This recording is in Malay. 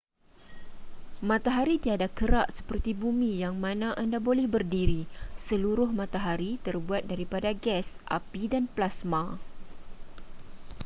matahari tiada kerak seperti bumi yang mana anda boleh berdiri seluruh matahari terbuat daripada gas api dan plasma